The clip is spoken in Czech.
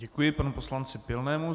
Děkuji panu poslanci Pilnému.